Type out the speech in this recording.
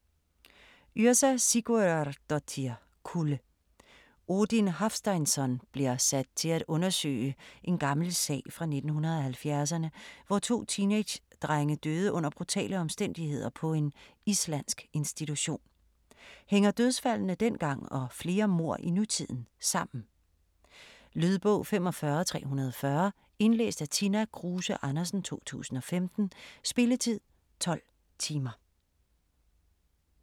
Yrsa Sigurðardóttir: Kulde Odin Hafsteinsson bliver sat til at undersøge en gammel sag fra 1970'erne, hvor to teenagedrenge døde under brutale omstændigheder på en islandsk institution. Hænger dødsfaldene dengang og flere mord i nutiden sammen? Lydbog 45340 Indlæst af Tina Kruse Andersen, 2015. Spilletid: 12 timer, 0 minutter.